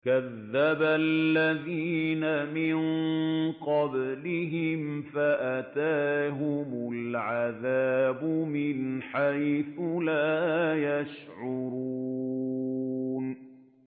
كَذَّبَ الَّذِينَ مِن قَبْلِهِمْ فَأَتَاهُمُ الْعَذَابُ مِنْ حَيْثُ لَا يَشْعُرُونَ